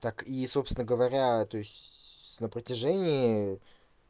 так и собственно говоря то есть на протяжении